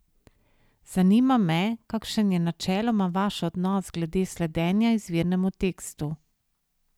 Zanima me, kakšen je načeloma vaš odnos glede sledenja izvirnemu tekstu?